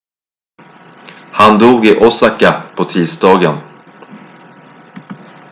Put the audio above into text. han dog i osaka på tisdagen